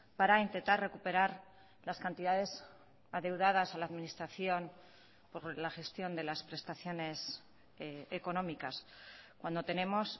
para intentar recuperar las cantidades adeudadas a la administración por la gestión de las prestaciones económicas cuando tenemos